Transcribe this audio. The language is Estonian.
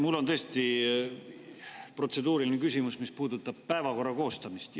Mul on tõesti protseduuriline küsimus, mis puudutab päevakorra koostamist.